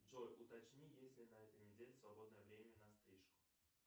джой уточни есть ли на этой неделе свободное время на стрижку